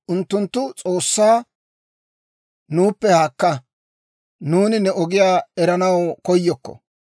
Unttunttu S'oossaa, ‹Nuuppe haakka! Nuuni ne ogiyaa eranaw koyokko!